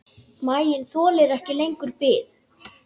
Maginn þolir ekki lengur bið.